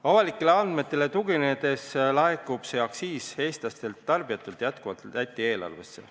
Avalike andmete järgi otsustades laekub see aktsiis Eesti tarbijatelt jätkuvalt Läti eelarvesse.